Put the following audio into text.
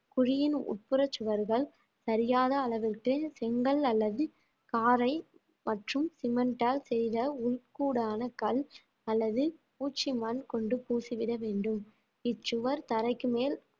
குழியின் உட்புற சுவர்கள் சரியான அளவிற்கு செங்கல் அல்லது காரை மற்றும் சிமெண்டால் செய்த உள்கூடான கல் அல்லது பூச்சி மண் கொண்டு பூசிவிட வேண்டும் இச்சுவர் தரைக்கு மேல்